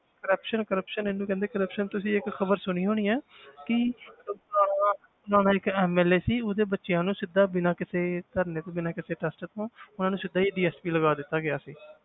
Corruption corruption ਇਹਨੂੰ ਕਹਿੰਦੇ corruption ਤੁਸੀਂ ਇੱਕ ਖ਼ਬਰ ਸੁਣੀ ਹੋਣੀ ਹੈ ਕਿ ਫ਼ਲਾਣਾ ਫ਼ਲਾਣਾ ਇੱਕ MLA ਸੀ ਉਹਦੇ ਬੱਚਿਆਂ ਨੂੰ ਸਿੱਧਾ ਬਿਨਾਂ ਕਿਸੇ ਧਰਨੇ ਤੋਂ ਬਿਨਾਂ ਕਿਸੇ test ਤੋਂ ਉਹਨਾਂ ਨੂੰ ਸਿੱਧਾ ਹੀ DSP ਲਗਾ ਦਿੱਤਾ ਗਿਆ ਸੀ